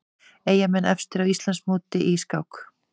Eyjamenn efstir á Íslandsmóti í skák